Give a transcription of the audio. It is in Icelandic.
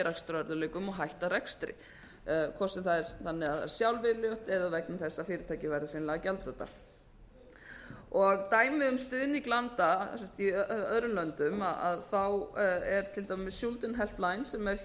rekstrarörðugleikum og hætta rekstri hvort sem það er þannig að sjálfviljugt eða vegna þess að fyrirtækið verður hreinlega gjaldþrota dæmi um stuðning landa í öðrum löndum er til dæmis schuldenhelpline sem er